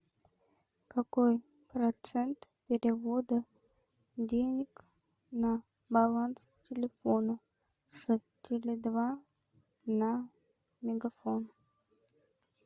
какой процент перевода денег на баланс телефона с теле два на мегафон